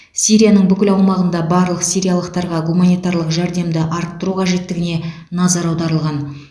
сирияның бүкіл аумағында барлық сириялықтарға гуманитарлық жәрдемді арттыру қажеттігіне назар аударылған